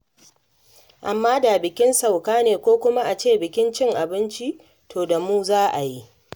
Amma da bikin sauka ne ko kuma a ce bikin cin abinci, to da da mu za a yi.